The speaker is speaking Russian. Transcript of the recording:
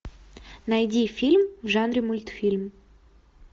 найди фильм в жанре мультфильм